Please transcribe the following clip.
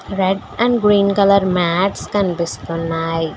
Red and green colour mats కనిపిస్తున్నాయ్.